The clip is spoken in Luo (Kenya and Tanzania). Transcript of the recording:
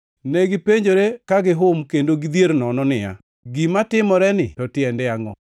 Negipenjore ka gihum kendo gidhier nono niya, “Gima timoreni to tiende angʼo?”